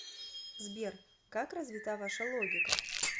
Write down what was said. сбер как развита ваша логика